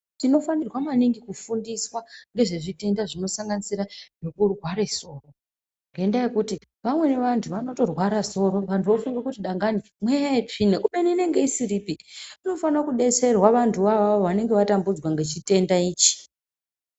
Tinofanirwa maningi kufundiswa ngezvezvitenda zvinosanganisira zvekurware soro. Ngendaa yekuti vamweni vanti vanotorwara soro vantu vofunga kuti dangani mweya yetsvina khubeni inenge isiripi. Vanofana kudetserwa vantu voavo vanenge vatambudzwa ngechirwere ichi.